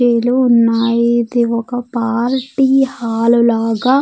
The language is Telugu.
కుర్చీలు ఉన్నాయి ఇది ఒక పార్టీ హాలు లాగా.